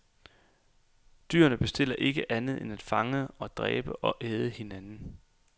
Dyrene bestiller ikke andet end at fange og dræbe og æde hinanden.